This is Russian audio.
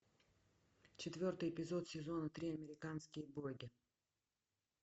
четвертый эпизод сезона три американские боги